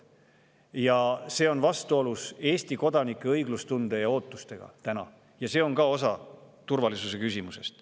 Ja see on vastuolus Eesti kodanike õiglustunde ja ootustega, mis on ka osa turvalisuse küsimusest.